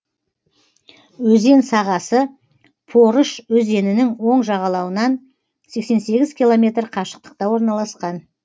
өзен сағасы порыш өзенінің оң жағалауынан сексен сегіз километр қашықтықта орналасқан